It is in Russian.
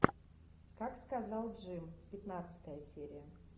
как сказал джим пятнадцатая серия